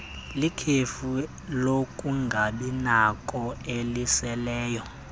likhefu lokungabinakho eliseleyo